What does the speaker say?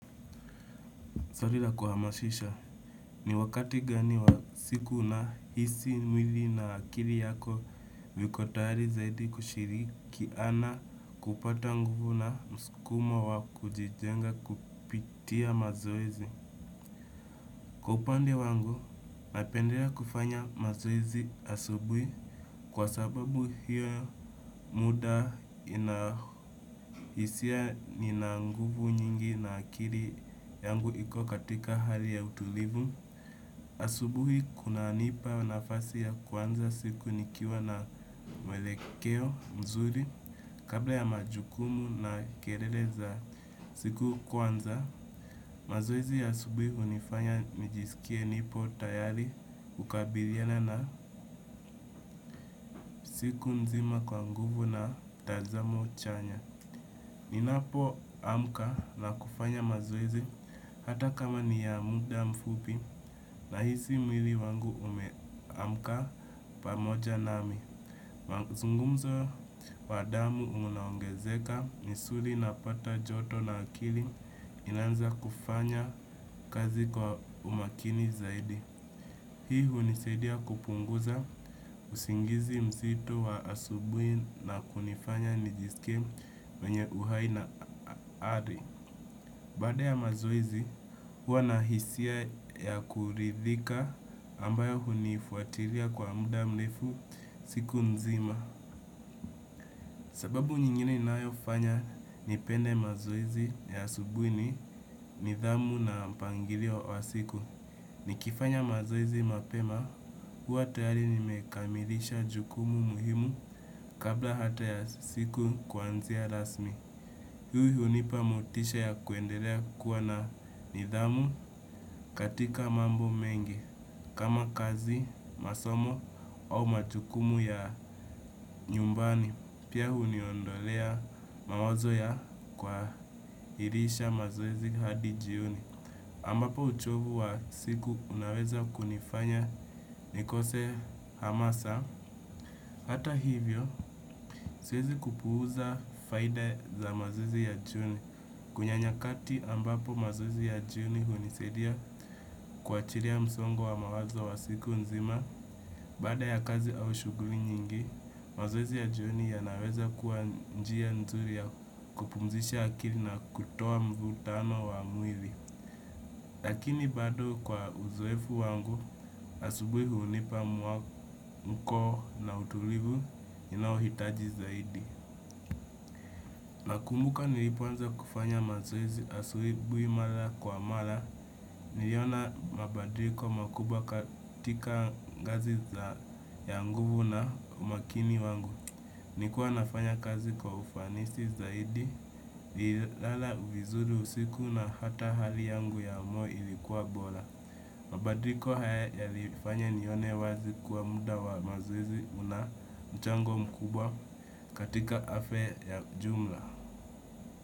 Sari la kuhamashisha, ni wakati gani wa siku na hisi mwili na akiri yako viko tahari zaidi kushiriki ana kupata nguvu na mskuma wa kujijenga kupitia mazoezi. Kwa upande wangu, napendelea kufanya mazoezi asubuhi kwa sababu hiyo muda inahisia nina nguvu nyingi na akiri yangu iko katika hali ya utulivu. Asubuhi kuna nipa nafasi ya kuanza siku nikiwa na mwelekeo mzuri. Kabla ya majukumu na kerele za siku kwanza, mazoezi ya asubui unifanya nijisikie nipo tayari ukabiliana na siku nzima kwa nguvu na tazamo chanya. Ninapo amka na kufanya mazoezi hata kama ni ya muda mfupi na hisi mwili wangu ume amka pamoja nami. Zungumzo wa damu unaongezeka nisuri na pata joto na akili inaanza kufanya kazi kwa umakini zaidi. Hii hunisaidia kupunguza usingizi mzito wa asubui na kunifanya nijisikie mwenye uhai na ari baada ya mazoezi, hua na hisia ya kuridhika ambayo hunifuatiria kwa muda mlefu siku nzima. Sababu nyingine inayo fanya nipende mazoezi ya asubui ni, nidhamu na mpangilio wa siku. Nikifanya mazoezi mapema, hua tayari nimekamilisha jukumu muhimu kabla hata ya siku kuanzia rasmi. Huyu hunipa motisha ya kuendelea kuwa na nidhamu katika mambo mengi. Kama kazi, masomo au majukumu ya nyumbani. Pia huniondolea mawazo ya kwa hirisha mazoezi hadi jioni ambapo uchovu wa siku unaweza kunifanya nikose hamasa. Hata hivyo, siezi kupuuza faida za mazoezi ya jioni. Kunya nyakati ambapo mazoezi ya jioni hunisadia kwahilia msongo wa mawazo wa siku nzima. Baada ya kazi au shuguli nyingi, mazoezi ya jioni yanaweza kuwa njia nzuri ya kupumzisha akili na kutoa mvutano wa mwili. Lakini bado kwa uzoefu wangu, asubui hunipa mwamko na utulivu ninaohitaji zaidi. Nakumbuka nilipo anza kufanya mazoezi asubui mala kwa mala niliona mabadriko makubwa katika ngazi za ya nguvu na umakini wangu. Nikuwa nafanya kazi kwa ufanisi zaidi lala vizuri usiku na hata hali yangu ya mo ilikuwa bola. Mabadriko haya yalifanya nione wazi kuwa muda wa mazoezi una mchango mkubwa katika afya ya jumla.